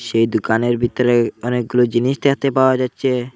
সেই দোকানের ভিতরে অনেকগুলো জিনিস দেখতে পাওয়া যাচ্ছে।